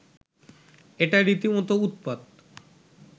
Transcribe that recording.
এটা রীতিমতো উৎপাত